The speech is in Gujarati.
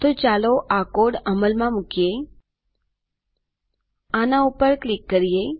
તો ચાલો આ કોડ અમલમાં મુકીએઆના ઉપર ક્લિક કરીએ